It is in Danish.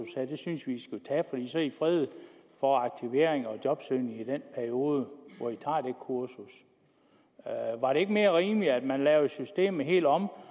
det synes vi i fredet for aktivering og jobsøgning i den periode hvor i tager det kursus var det ikke mere rimeligt at man lavede systemet helt om